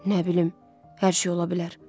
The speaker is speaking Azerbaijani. Nə bilim, hər şey ola bilər.